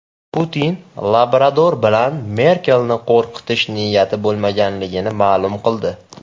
Putin labrador bilan Merkelni qo‘rqitish niyati bo‘lmaganligini ma’lum qildi.